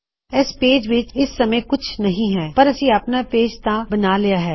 ਏਸ ਪੇਜ ਵਿੱਚ ਇਸ ਸਮੇ ਕੁਝ ਨਹੀ ਹੈ ਪਰ ਅਸੀ ਆਪਣਾ ਪੇਜ ਤਾਂ ਬਣਾ ਲਇਆ ਹੈ